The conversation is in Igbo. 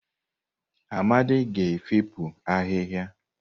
Amadi ga-efopụ ahịhịa.